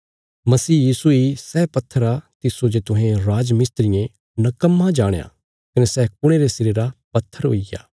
मसीह यीशु इ सै पत्थर आ तिस्सो जे तुहें राजमिस्त्रियें नकम्मा जाणया कने सै कुणे रे सिरे रा पत्थर हुईग्या